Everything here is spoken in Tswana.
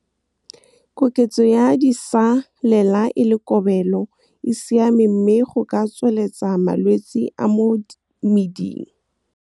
Koketso ya disalela e le kobelo e siame mme go ka tsweleletsa malwetse a mo meding.